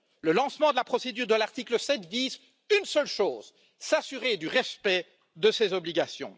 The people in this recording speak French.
Le lancement de la procédure de l'article 7 vise une seule chose s'assurer du respect de ces obligations.